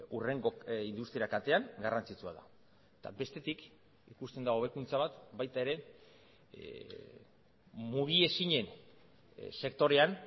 hurrengo industria katean garrantzitsua da eta bestetik ikusten da hobekuntza bat baita ere mugiezinen sektorean